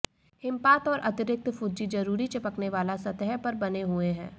हिमपात और अतिरिक्त फुज्जी जरूरी चिपकने वाला सतह पर बने हुए हैं